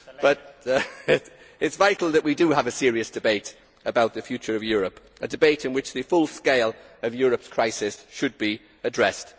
It is vital that we do have a serious debate about the future of Europe a debate in which the full scale of Europe's crisis should be addressed.